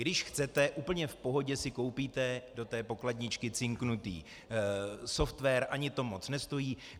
Když chcete, úplně v pohodě si koupíte do té pokladničky cinknutý software, ani to moc nestojí.